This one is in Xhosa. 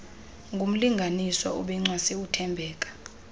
ngumlinganiswa obencwase uthembeka